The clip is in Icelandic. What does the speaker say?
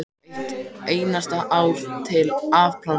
Eitt einasta ár til að afplána.